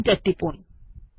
enter টিপুন